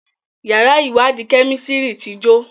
yàrá iwadi Kẹ́mísìrì tí jo.